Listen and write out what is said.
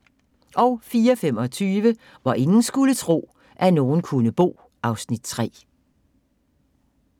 04:25: Hvor ingen skulle tro, at nogen kunne bo (Afs. 3)